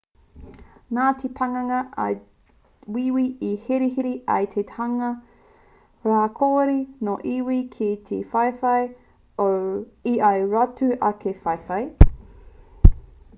nā te pakanga a wīwī i hihiri ai te hunga rawakore nō iwi kē ki te whawhai i ō rātou ake whahai